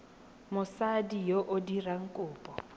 mosadi yo o dirang kopo